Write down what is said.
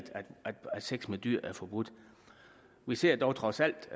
sex med dyr er forbudt vi ser dog trods alt